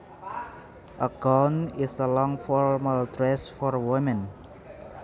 A gown is a long formal dress for women